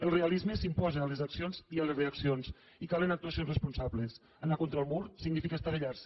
el realisme s’imposa a les accions i a les reaccions i calen actuacions responsables anar contra el mur significa estavellar se